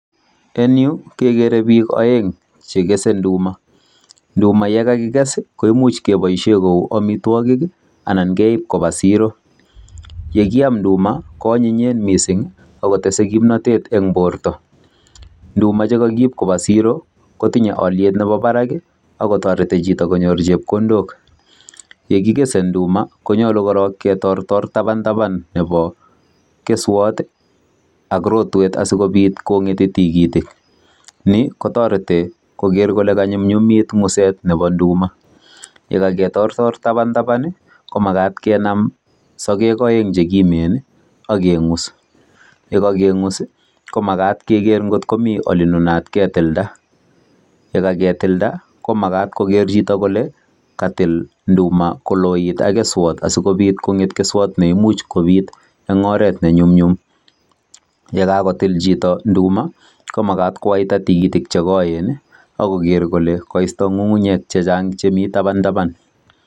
Eng yu kegere. biik peng cheese induma, induma ye kakiges I,koimuch keboishien kou amitwogiik anan keib siro. Yekiam nduma koanyinyeen missing akotese kimnotet en borto, ndumache kokiib koba siiro kotinye oliet nebo barak ak kotoretii chito konyoor chepkondook. Ye kigese induma konyolu korong ketortor taban taban nebo keswoot ak rotwet asikobiit kongetii tikitik. Nik kotoretii koger kole kanyumnyumit nguset Nebo nduma .Yekaketoor tabantaban I,komagaat kenaam sogeek oeng che kimen akengus. Ye kengus komagat keger kot komi olenunaat ketildaa. Yekakitildaa komagat koger chito kole katil indumakonget ak keswot asikobiit keswot neimuch kobiit en oret nenyumnyum. Ye kakotil chito nduma komagat kowaitaa tigitik che koenak kogeer kole koisto ngungunyek chechang chemi tabantaban.